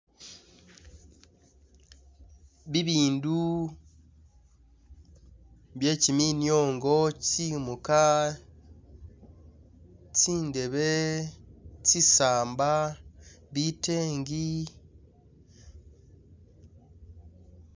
Bibindu bye giminyongo tsi'muga tsi'ndebe tsi'saapa, bitengi.